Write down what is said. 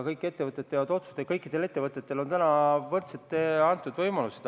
Kõik ettevõtted teevad otsuseid ja kõikidel ettevõtetel on täna võrdsed võimalused.